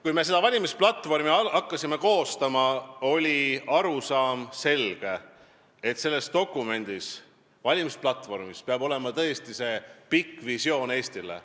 Kui me hakkasime valimisplatvormi koostama, oli meil selge arusaam, et selles dokumendis, valimisplatvormis, peab olema tõesti kirjas pikk visioon Eestile.